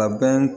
A bɛ